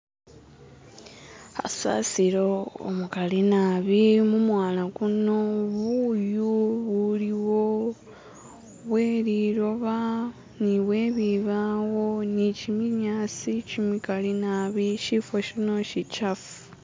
hasasilo umukali nabi mumwala kuno nebuyu buliwo bweliloba nibwebibawo nichiminyasi chimikali nabi shifo shino shichafu